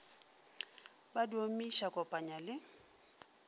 ba di omiša kopanya le